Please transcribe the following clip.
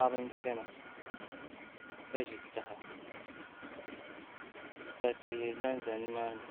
Paɣaba n chɛna ka ʒi taha ka tihi ʒɛnʒɛ nimaani